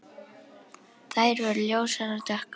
Þær voru ljósar og dökkar.